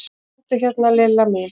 Komdu hérna Lilla mín.